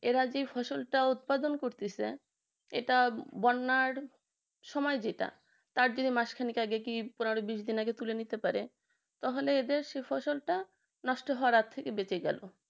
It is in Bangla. এরা যে ফসলটা উৎপাদন করতেছে এটা বন্যার সময় যেটা তার জেরে মাসখানিক আগে কি পনেরো দিন বিশ দিন আগে তুলে নিতে পারে তাহলে তাদের সে ফসলটা নষ্ট হওয়ার হাত থেকে বেঁচে গেল